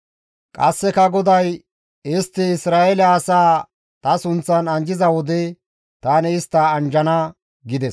Qasseka GODAY, «Istti Isra7eele asaa ta sunththan anjjiza wode tani istta anjjana» gides.